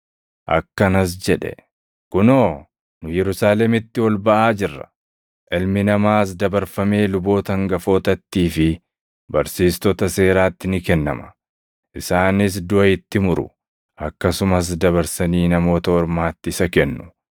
Akkanas jedhe; “Kunoo, nu Yerusaalemitti ol baʼaa jirra; Ilmi Namaas dabarfamee luboota hangafootattii fi barsiistota seeraatti ni kennama. Isaanis duʼa itti muru; akkasumas dabarsanii Namoota Ormaatti isa kennu;